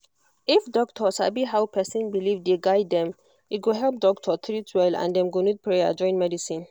if doctor sabi how person belief dey guide dem e go help doctor treat well and dem go need prayer join medicine